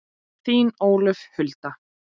Þín, Ólöf Hulda.